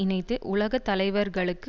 இணைத்து உலக தலைவர்களுக்கு